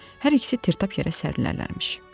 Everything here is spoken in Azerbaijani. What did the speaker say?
Hər ikisi tərtap yerə sərilərmiş.